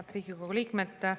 Head Riigikogu liikmed!